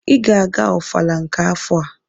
Ị ga-aga ọfala nke afọ a!